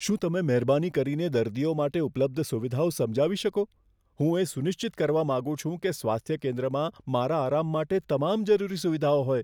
શું તમે મહેરબાની કરીને દર્દીઓ માટે ઉપલબ્ધ સુવિધાઓ સમજાવી શકો? હું એ સુનિશ્ચિત કરવા માંગુ છું કે સ્વાસ્થ્ય કેન્દ્રમાં મારા આરામ માટે તમામ જરૂરી સુવિધાઓ હોય.